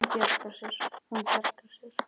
Hún bjargar sér.